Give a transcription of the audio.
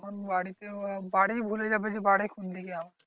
তখন বাড়িতে উহা বাড়ি ভুলে যাবে যে বাড়ি কোন দিকে আমার?